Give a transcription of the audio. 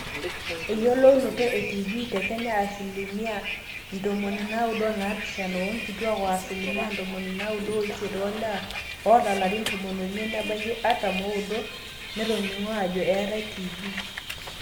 eyiolounoto e tb te kenya, asilimia 97% oonkituaak o asilimia 98% oolewa ooata ilarin tomon oimiet nebaiki artam ooudo netoning'o ajo eetai tb